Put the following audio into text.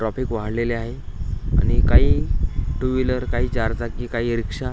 traffic वाढलेले आहे आणि काही टूव्हिलर काही चारचाकी काही रिक्षा --